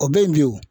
O bɛ ye bi o